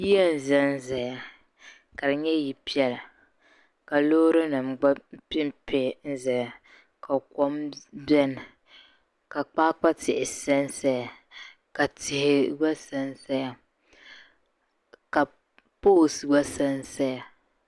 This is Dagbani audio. yiya n-zanzaya ka di nyɛ ya piɛla ka loorinima gba pempe n-zaya ka kom beni ka kpaakpa tihi sansaya ka tihi gba sansaya ka poolinima gba sansaya